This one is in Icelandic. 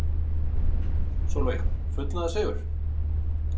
Sólveig: Fullnaðarsigur?